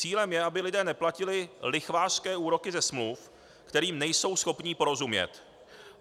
Cílem je, aby lidé neplatili lichvářské úroky ze smluv, kterým nejsou schopni porozumět.